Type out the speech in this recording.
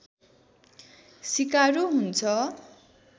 सिकारु हुन्छ